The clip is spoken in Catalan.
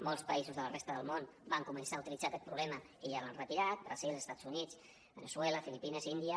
molts països de la resta del món van començar a utilitzar aquest sistema i ja l’han retirat brasil estats units veneçuela filipines índia